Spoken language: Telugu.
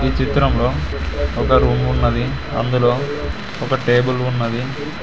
ఈ చిత్రంలో ఒక రూమ్ ఉన్నది అందులో ఒక టేబుల్ ఉన్నది.